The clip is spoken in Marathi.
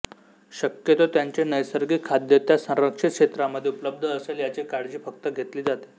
शक्यतो त्यांचे नैसर्गिक खाद्य त्या संरक्षित क्षेत्रामध्ये उपलब्ध असेल याची काळजी फक्त घेतली जाते